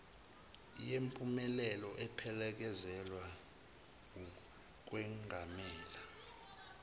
yempumelelo ephelezelwa wukwengamela